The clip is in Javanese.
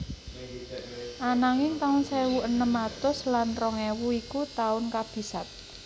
Ananging taun sewu enem atus lan rong ewu iku taun kabisat